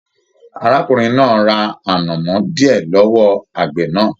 Arákùnrin náà ra anamọ diẹ lọwọ àgbẹ náà.